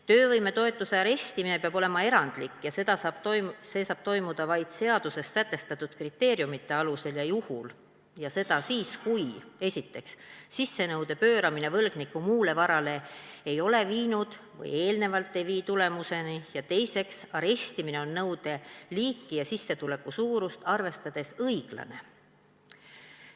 Töövõimetoetuse arestimine peab olema erandlik ja see saab toimuda vaid seaduses sätestatud kriteeriumite alusel ja juhul ning siis, kui esiteks, sissenõude pööramine võlgniku muule varale ei ole eelnevalt viinud või ei vii tulemuseni, ja teiseks, arestimine on nõude liiki ja sissetuleku suurust arvestades õiglane.